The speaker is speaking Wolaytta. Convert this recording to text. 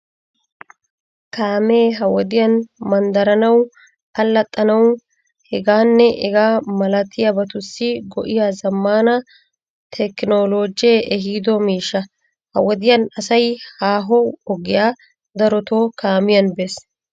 Kaamee ha wodiyan manddaranawu, allaxxanawu, hegaanne hegaa malabatussi go''iya zammaana tekinoloojee ehiido miishsha. Ha wodiyan asay haaho ogiyaa daroto kaamiyan bees.